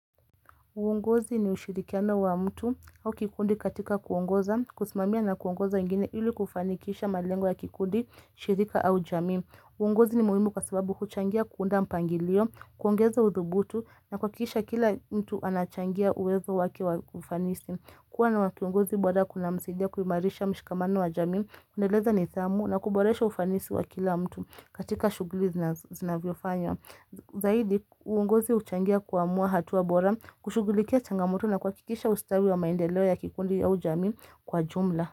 Uongozi ni ushirikiano wa mtu au kikundi katika kuungoza, kusimamia na kuungoza ingine ili kufanikisha malengwa ya kikundi, shirika au jamii. Uongozi ni muhimu kwa sababu huchangia kuunda mpangilio, kuongeza udhubutu na kuhakikisha kila mtu anachangia uwezo wake wa kufanisi. Kuwa na wakiongozi bora kunamsaidia kuimarisha mshikamano wa jamii, kuendeleza nidhamu na kuboresha ufanisi wa kila mtu katika shughuli zinazo zinavyofanywa. Zaidi, uongozi huchangia kuamua hatua bora kushughulikia chanagmoto na kuhakikisha ustawi wa maendeleo ya kikundi au jamii kwa jumla.